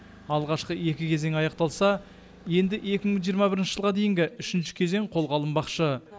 алғашқы екі кезеңі аяқталса енді екі мың жиырма бірінші жылға дейінгі үшінші кезең қолға алынбақшы